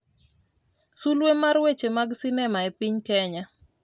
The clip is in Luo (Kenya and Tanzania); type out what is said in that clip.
sulwe mar weche mag sinema e piny Kenya